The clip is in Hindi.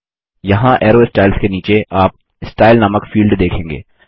यहाँ अरो स्टाइल्स के नीचे आप स्टाइल नामक फील्ड देखेंगे